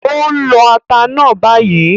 Ó ń lọ ata náà bayìí